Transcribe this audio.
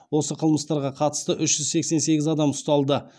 осы қылмыстарға қатысты үш жүз сексен сегіз адам ұсталды